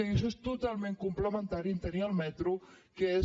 i això és totalment complementari amb el fet de tenir el metro que és